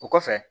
O kɔfɛ